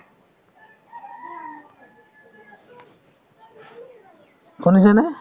শুনিছেনে ?